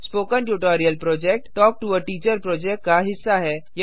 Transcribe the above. spoken tutorial project talk to a teacher project का हिस्सा है